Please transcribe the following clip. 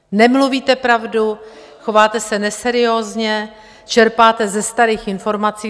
Nemluvíte pravdu, chováte se neseriózně, čerpáte ze starých informací.